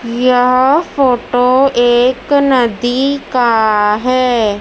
यह फोटो एक नदी का है।